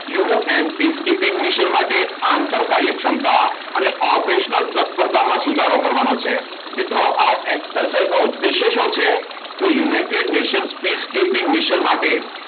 You N peacekeeping mission માટે આંતર કાર્ય ક્ષમતા અને ઓપરેશનલ તત્પરતામાં સુધારો કરવાનો છે. મિત્રો આ એક્સરસાઇઝ નો ઉદ્દેશ્ય શું છે? તો United Nations peacekeeping mission માટે